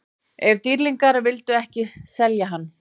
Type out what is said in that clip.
En Dýrlingarnir vildu ekki selja hann.